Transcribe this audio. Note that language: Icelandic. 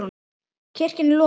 Kirkjan er lokuð.